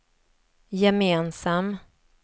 gemensam